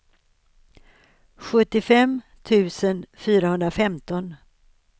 sjuttiofem tusen fyrahundrafemton